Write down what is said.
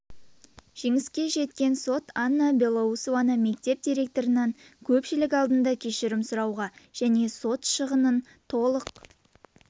жеңіске жеткен сот анна белоусованы мектеп директорынан көпшілік алдында кешірім сұрауға және сот шығынын толық